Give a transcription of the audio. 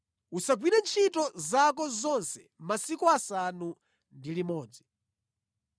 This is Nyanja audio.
Uzigwira ntchito zako zonse masiku asanu ndi limodzi.